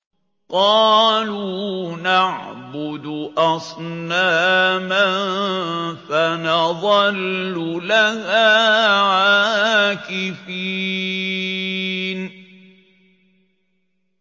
قَالُوا نَعْبُدُ أَصْنَامًا فَنَظَلُّ لَهَا عَاكِفِينَ